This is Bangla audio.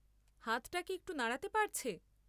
হাতটা কি একটু নাড়াতে পারছে?